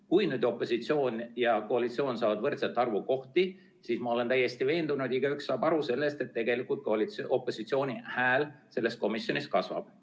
Kui nüüd opositsioon ja koalitsioon saavad võrdse arvu kohti, siis tegelikult – ma olen täiesti veendunud, et igaüks saab sellest aru – opositsiooni hääl selles komisjonis kasvab.